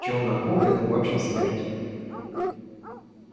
челноку это вообщем смерть